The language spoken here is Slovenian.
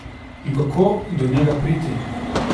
In kako do njega priti?